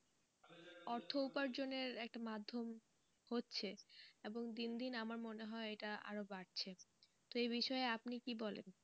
অর্থ উপার্জনের একটা মাধ্যম হচ্ছে এবং দিন দিন আমার মনে হয় এটা আরও বাড়ছে তো এই বিষয়ে আপনি কী বলেন?